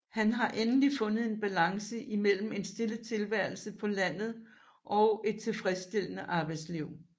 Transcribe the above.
Han har endelig fundet en balance mellem en stille tilværelse på landet og et tilfredsstillende arbejdsliv